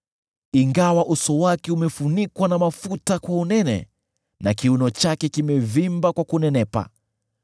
“Ingawa uso wake umefunikwa na mafuta kwa unene na kiuno chake kimevimba kwa kunenepa,